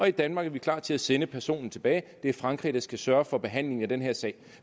i danmark er klar til at sende personer tilbage og det er frankrig der skal sørge for behandlingen af den her sag